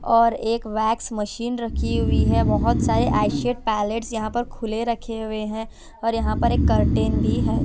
और एक wax machine रखी हुई है बहोत सारे आईशेड पेलेट यहां पर खुले रखे हुए हैं और यहां पर एक कर्टन भी है।